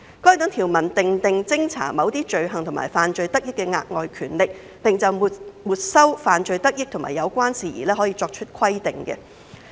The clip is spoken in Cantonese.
該等條文訂定偵查某些罪行及犯罪得益的額外權力，並就沒收犯罪得益及有關事宜作出規定。